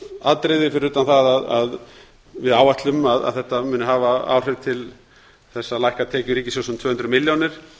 atriði fyrir utan það að við áætlum að þetta muni hafa áhrif til þess að lækka tekjur ríkissjóðs um tvö hundruð milljónir miðað